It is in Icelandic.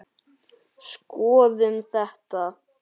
Skoðum þetta